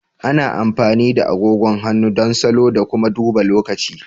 Ana amfani da agogon hannu don salo da kuma duba lokaci.